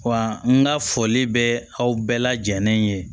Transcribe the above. Wa n ka foli bɛ aw bɛɛ lajɛlen ye